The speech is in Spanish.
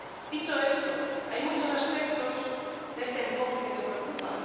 Dicho esto, hay muchos aspectos de este enfoque que me preocupan.